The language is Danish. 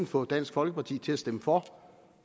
få dansk folkeparti til at stemme for